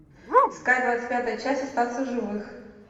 искать двадцать пятую часть остаться в живых